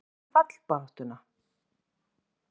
Hvað með fallbaráttuna?